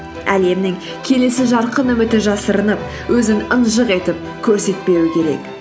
әлемнің келесі жарқын үміті жасырынып өзін ынжық етіп көрсетпеуі керек